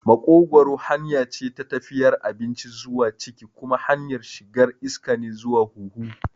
Maƙogwaro hanya ce ta tafiyar abinci zuwa ciki kuma hanyar shigar iska ne zuwa huhu.